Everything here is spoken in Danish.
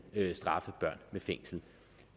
at straffe børn med fængsel